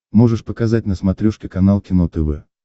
можешь показать на смотрешке канал кино тв